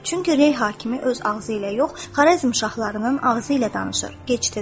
Çünki Rey hakimi öz ağzı ilə yox, Xarəzm şahlarının ağzı ilə danışır.